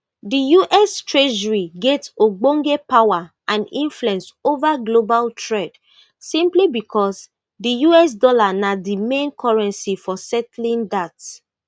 di us treasury get ogbonge power and influence ova global trade simply becos di us dollar na di main currency for settling dat